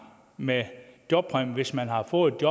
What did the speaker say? med jobpræmie hvis man har fået et